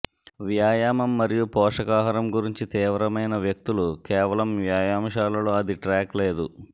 వ్యాయామం మరియు పోషకాహారం గురించి తీవ్రమైన వ్యక్తులు కేవలం వ్యాయామశాలలో అది ట్రాక్ లేదు